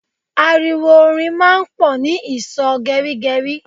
Ariwo orin máa ń pò ni ìsò gerigeri